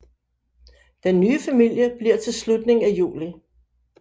Den nye familie bliver til i slutningen af juli